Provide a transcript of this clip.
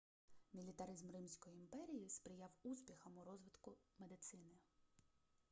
мілітаризм римської імперії сприяв успіхам у розвитку медицини